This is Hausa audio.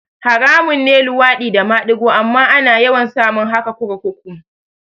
Haramun ne luwaɗi da madigo amma ana yawan samun haka kurkuku